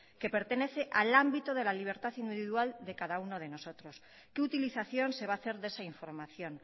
que pertenece al ámbito de la libertad individual de cada uno de nosotros qué utilización se va a hacer de esa información